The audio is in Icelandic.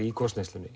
í